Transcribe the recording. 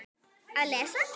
Að lesa?